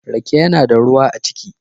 Rake yana da ruwa a ciki.